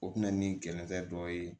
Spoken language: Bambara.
O kun bɛ na ni kɛlɛkɛ dɔ ye